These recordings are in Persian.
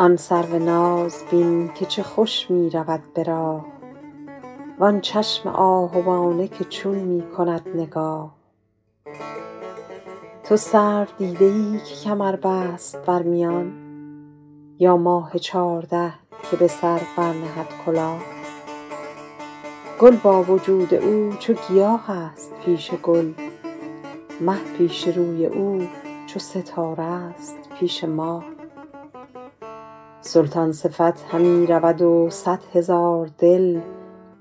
آن سرو ناز بین که چه خوش می رود به راه وآن چشم آهوانه که چون می کند نگاه تو سرو دیده ای که کمر بست بر میان یا ماه چارده که به سر برنهد کلاه گل با وجود او چو گیاه است پیش گل مه پیش روی او چو ستاره ست پیش ماه سلطان صفت همی رود و صد هزار دل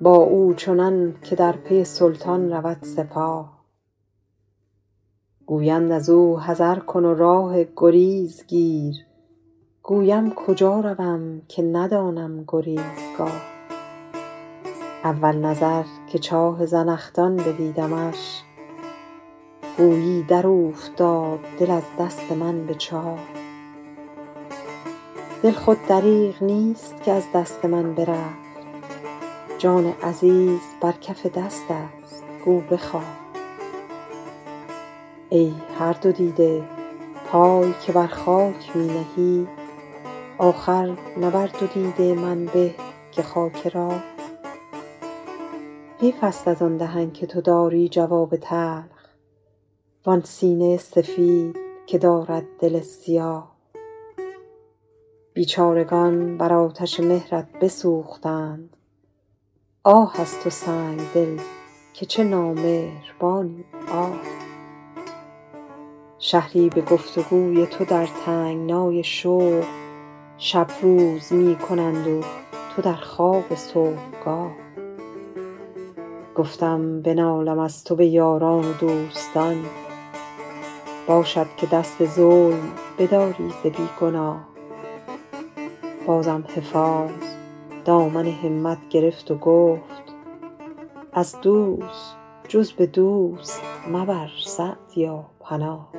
با او چنان که در پی سلطان رود سپاه گویند از او حذر کن و راه گریز گیر گویم کجا روم که ندانم گریزگاه اول نظر که چاه زنخدان بدیدمش گویی در اوفتاد دل از دست من به چاه دل خود دریغ نیست که از دست من برفت جان عزیز بر کف دست است گو بخواه ای هر دو دیده پای که بر خاک می نهی آخر نه بر دو دیده من به که خاک راه حیف است از آن دهن که تو داری جواب تلخ وآن سینه سفید که دارد دل سیاه بیچارگان بر آتش مهرت بسوختند آه از تو سنگدل که چه نامهربانی آه شهری به گفت و گوی تو در تنگنای شوق شب روز می کنند و تو در خواب صبحگاه گفتم بنالم از تو به یاران و دوستان باشد که دست ظلم بداری ز بی گناه بازم حفاظ دامن همت گرفت و گفت از دوست جز به دوست مبر سعدیا پناه